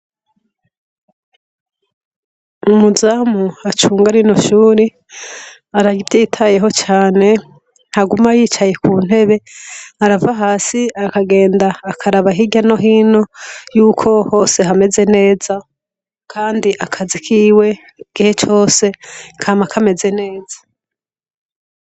Umuzamu acunga rino shuri, araryitayeho cane, ntaguma yicaye ku ntebe, arava hasi akagenda akaraba hirya no hino, yuko hose hameze neza. Kandi akazi kiwe, igihe cose kama kameze neza.